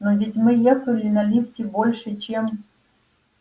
но ведь мы ехали на лифте больше чем